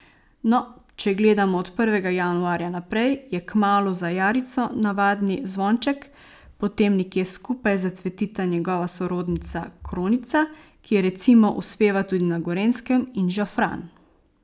No, če gledamo od prvega januarja naprej, je kmalu za jarico navadni zvonček, potem nekje skupaj zacvetita njegova sorodnica kronica, ki recimo uspeva tudi na Gorenjskem, in žafran.